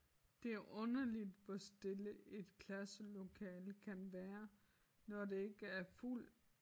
Det er underligt hvor stille et klasselokale kan være når det ikke er fuld